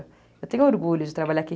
Eu tenho orgulho de trabalhar aqui.